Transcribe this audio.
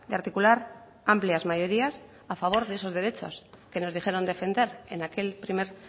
articular amplias mayorías a favor de esos derechos que nos dijeron defender en aquel primer